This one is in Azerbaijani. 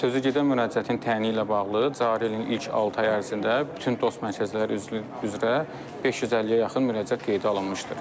Sözügedən müraciətin təyini ilə bağlı cari ilin ilk altı ayı ərzində bütün DOST mərkəzləri üzrə 550-yə yaxın müraciət qeydə alınmışdır.